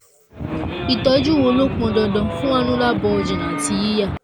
ìtọ́jú wo ló pọn dandan fún annular bulging àti yíya?